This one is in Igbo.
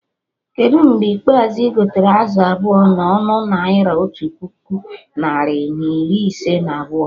Kedụ mgbe ikpeazụ igotere azụ abụọ na ọnụ Naira otu puku narị na iri ise na abụọ?